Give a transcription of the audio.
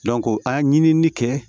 a ye ɲinini kɛ